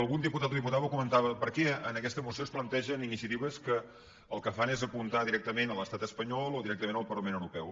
algun diputat o diputada ho comentava per què en aquesta moció es plantegen iniciatives que el que fan és apuntar directament l’estat espanyol o directa·ment el parlament europeu